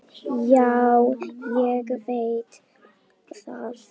Já, ég veit það.